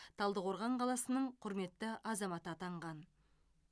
талдықорған қаласының құрметті азаматы атанған